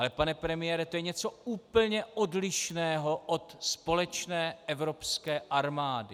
Ale pane premiére, to je něco úplně odlišného od společné evropské armády.